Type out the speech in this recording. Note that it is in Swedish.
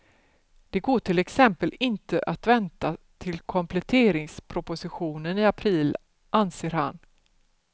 Det går till exempel inte att vänta till kompletteringspropositionen i april, anser han.